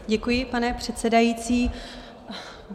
Děkuji, pane předsedající.